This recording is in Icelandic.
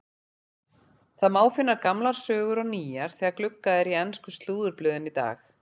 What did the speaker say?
Það má finna gamlar sögur og nýjar þegar gluggað er í ensku slúðurblöðin í dag.